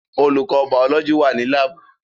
Olùkọ́ bàọ́lọ́jì wà ní láàbù